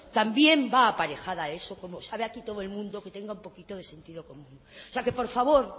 también va aparejada a eso como sabe aquí todo el mundo que tenga un poquito de sentido común o sea que por favor